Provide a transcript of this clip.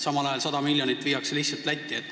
Samal ajal viiakse lihtsalt 100 miljonit Lätti.